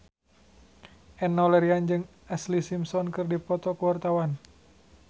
Enno Lerian jeung Ashlee Simpson keur dipoto ku wartawan